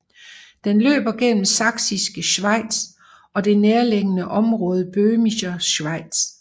Den løber gennem Sachsische Schweiz og det nærliggande område Böhmische Schweiz